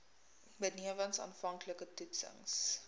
benewens aanvanklike toetsings